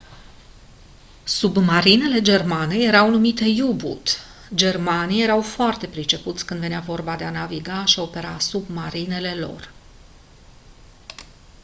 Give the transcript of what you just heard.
submarinele germane erau numite u-boot germanii erau foarte pricepuți când venea vorba de a naviga și opera submarinele lor